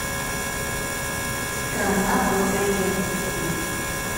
страна благоденствия